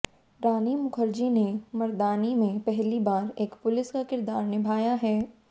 रानी मुखर्जी ने मर्दानी में पहली बार एक पुलिस का किरदार निभाया है